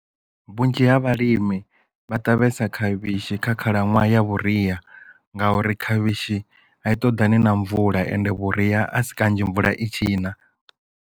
Vhunzhi ha vhalimi vha ṱavhesa khavhishi kha khalaṅwaha ya vhuria ngauri khavhishi a i ṱoḓani na mvula ende vhuria a si kanzhi mvula i tshi na.